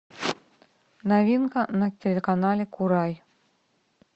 новинка на телеканале курай